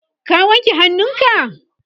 ka wanke hannunka?